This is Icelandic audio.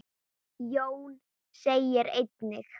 Jón segir einnig